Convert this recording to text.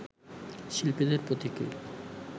শিল্পীদের পথিকৃৎ